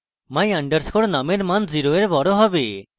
my _ num এর মান 0 এর বড় হবে